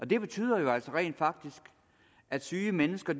det betyder altså rent faktisk at syge mennesker